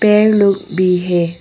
पेड़ लोग भी हैं।